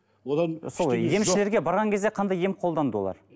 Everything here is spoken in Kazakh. одан сол емшілерге барған кезде қандай ем қолданды олар